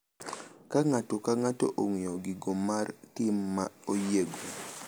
Ka ng’ato ka ng’ato ong’eyo giko mar tim ma oyiego,